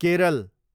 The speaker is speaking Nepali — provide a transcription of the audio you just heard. केरल